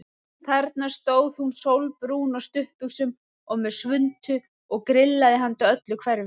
Þarna stóð hún sólbrún á stuttbuxum og með svuntu og grillaði handa öllu hverfinu.